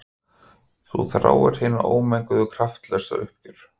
Þú þráir hina ómenguðu kraftlausu uppgjöf.